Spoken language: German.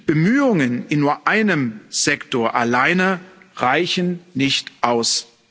Bemühungen in nur einem Sektor alleine reichen nicht aus.